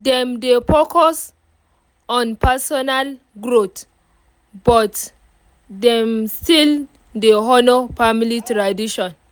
dem dey focus on personal growth but dem still dey honour family tradition